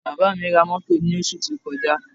Bàbá mi ra mọ́tò lósù tí ó kọjá